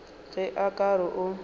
ge o ka re o